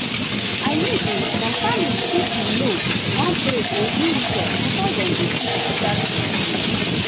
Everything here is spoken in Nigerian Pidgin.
i mean say some families fit you know wan pray or do ritual before before dem go fit start procedure.